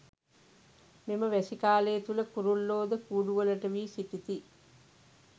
මෙම වැසි කාලය තුළ කුරුල්ලෝ ද කූඩුවලට වී සිටිති.